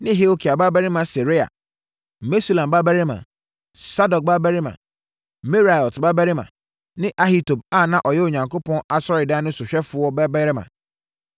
ne Hilkia babarima Seraia, Mesulam babarima, Sadok babarima, Meraiot babarima ne Ahitub a na ɔyɛ Onyankopɔn Asɔredan no sohwɛfoɔ babarima,